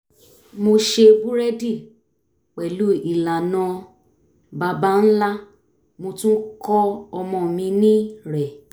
mo ṣe búrẹ́dì pẹ̀lú ìlànà baba ńlá mo tún kọ́ ọmọ mi ní rẹ̀